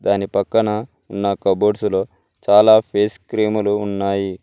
దాని పక్కన ఉన్న కబోర్డ్స్ లో చాలా ఫేస్ క్రీములు ఉన్నాయి.